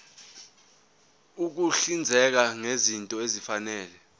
ukuhlinzeka ngezinto ezifanele